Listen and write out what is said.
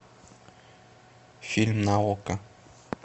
фильм на окко